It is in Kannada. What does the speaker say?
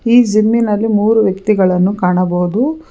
ಈ ಜಿಮ್ ನಲ್ಲಿ ಮೂರು ವ್ಯಕ್ತಿಗಳನ್ನು ಕಾಣಬಹುದು.